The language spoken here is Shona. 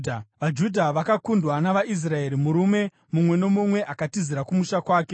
VaJudha vakakundwa navaIsraeri, murume mumwe nomumwe akatizira kumusha kwake.